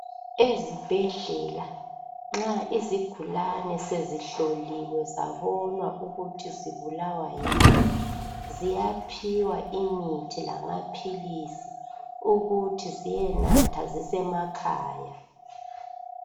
ezibhedlela nxa izigulane sezihloliwe zabonwa ukuthi zibulawa yini ziyaphiwa imithi lamaphilisi ukuthiziyenatha zisemakhaya